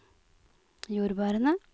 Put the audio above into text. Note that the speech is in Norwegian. jordbærene